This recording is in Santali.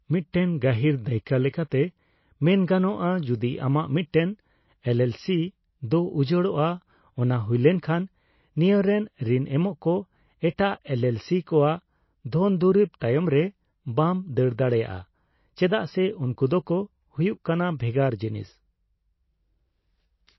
ᱢᱤᱫᱴᱮᱱ ᱜᱟᱹᱦᱤᱨ ᱫᱟᱹᱭᱠᱟᱹ ᱞᱮᱠᱟᱛᱮ ᱢᱮᱱ ᱜᱟᱱᱚᱜᱼᱟ, ᱡᱩᱫᱤ ᱟᱢᱟᱜ ᱢᱤᱫᱴᱮᱱ ᱮᱞᱹᱮᱞᱹᱥᱤ ᱫᱚ ᱩᱡᱟᱹᱲᱚᱜᱼᱟ, ᱚᱱᱟ ᱦᱩᱭ ᱞᱮᱱᱠᱷᱟᱱ ᱱᱤᱭᱟᱹ ᱨᱮᱱ ᱨᱤᱱ ᱮᱢᱚᱜᱠᱚ ᱮᱴᱟᱜ ᱮᱞᱹᱮᱞᱹᱥᱤ ᱠᱚᱣᱟᱜ ᱫᱷᱚᱱᱫᱩᱨᱤᱵᱽ ᱛᱟᱭᱚᱢᱨᱮ ᱵᱟᱢ ᱫᱟᱹᱲ ᱫᱟᱲᱮᱭᱟᱜᱼᱟ ᱪᱮᱫᱟᱜ ᱥᱮ ᱩᱱᱠᱩ ᱫᱚᱠᱚ ᱦᱩᱭᱩᱜ ᱠᱟᱱᱟ ᱵᱷᱮᱜᱟᱨ ᱡᱤᱱᱤᱥ ᱾